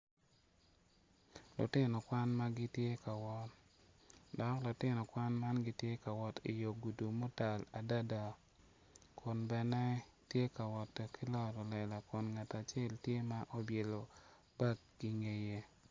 Lutino kwan ma gitye ka wot dok lutino kwan man gitye ka wot i dye gudu ma otal adada kun bene gitye ka wot ki loro lela kun ngat acel ty ema obyelo bag i ngeye.